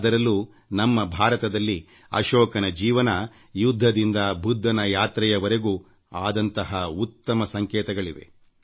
ಅದರಲ್ಲೂ ನಮ್ಮ ಭಾರತದಲ್ಲಿ ಅಶೋಕನ ಜೀವನ ಯುದ್ಧದಿಂದ ಬುದ್ಧನ ಯಾತ್ರೆಯವರೆಗೂ ಆದಂತಹ ಉತ್ತಮ ಸಂಕೇತಗಳಿವೆ